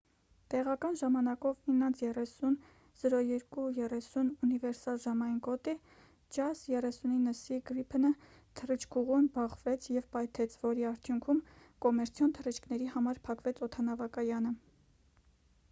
տեղական ժամանակով 9:30 02:30` ունիվերսալ ժամային գոտի jas 39c gripen-ը թռիչքուղուն բախվեց և պայթեց որի արդյունքում կոմերցիոն թռիչքների համար փակվեց օդանավակայանը